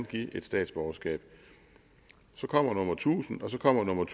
give statsborgerskab så kommer nummer tusind og så kommer nummer